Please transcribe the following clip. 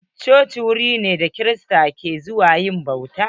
Coci wuri ne da kirista suke zuwa yin bauta.